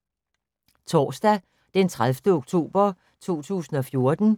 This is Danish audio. Torsdag d. 30. oktober 2014